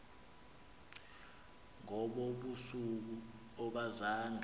ngobo busuku akazange